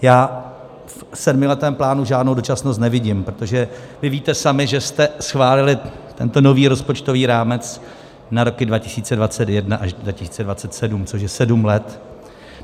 Já v sedmiletém plánu žádnou dočasnost nevidím, protože vy víte sami, že jste schválili tento nový rozpočtový rámec na roky 2021 až 2027, což je sedm let.